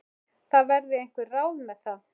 Það verði einhver ráð með það.